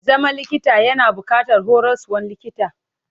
Zama likita yana buƙatar horaswan likita.